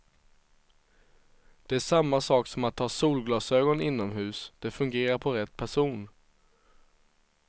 Det är samma sak som att ha solglasögon inomhus, det fungerar på rätt person.